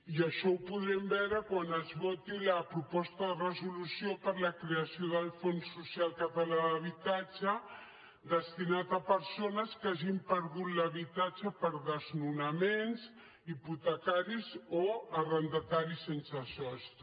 i això ho podrem veure quan es voti la proposta de resolució per a la creació del fons social català d’habitatge destinat a persones que hagin perdut l’habitatge per desnonaments hipotecaris o arrendataris sense sostre